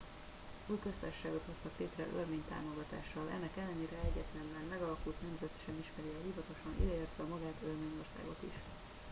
új köztársaságot hoztak létre örmény támogatással ennek ellenére egyetlen már megalakult nemzet sem ismeri el hivatalosan ide értve magát örményországot is